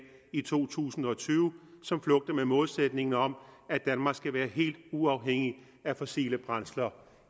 i to tusind og tyve som flugter med målsætningen om at danmark skal være helt uafhængigt af fossile brændsler